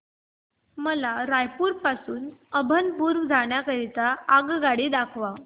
मला रायपुर पासून अभनपुर जाण्या करीता आगगाडी दाखवा